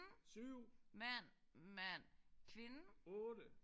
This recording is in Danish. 7 8